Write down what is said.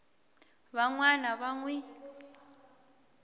van wana va n wi